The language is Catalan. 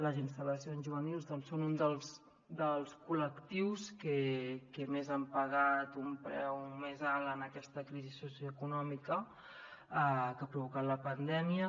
les instal·lacions juvenils doncs són un dels col·lectius que han pagat un preu més alt en aquesta crisi socioeconòmica que ha provocat la pandèmia